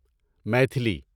Maithili